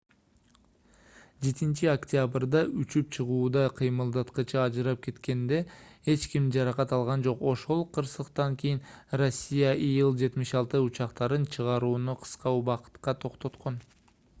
7-октябрда учуп чыгууда кыймылдаткычы ажырап кеткенде эч ким жаракат алган жок ошол кырсыктан кийин россия ил-76 учактарын чыгарууну кыска убакытка токтоткон